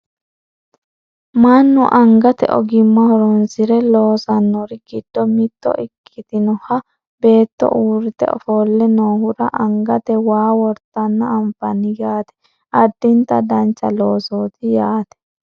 mannu angate ogimma horonsire loosannori giddo mitto ikkitinoha beetto uurrite ofolle noohura angate waa wortanna anfani yaate addinta dancha loosooti yaate